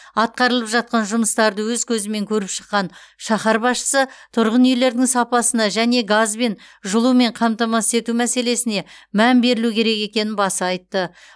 атқарылып жатқан жұмыстарды өз көзімен көріп шыққан шаһар басшысы тұрғын үйлердің сапасына және газбен жылумен қамтамасыз ету мәселесіне мән берілу керек екенін баса айтты